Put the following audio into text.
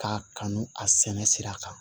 K'a kanu a sɛnɛ sira kan